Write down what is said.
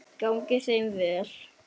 Gangi þeim vel!